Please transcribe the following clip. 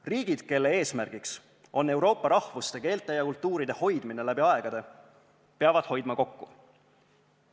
Riigid, kelle eesmärk on Euroopa rahvuste, keelte ja kultuuride hoidmine läbi aegade, peavad hoidma kokku.